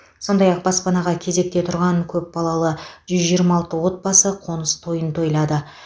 сондай ақ баспанаға кезекте тұрған көпбалалы жүз жиырма алты отбасы қоныс тойын тойлады